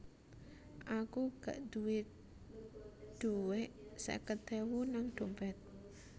Aku gak duwe duwek seket ewu nang dompet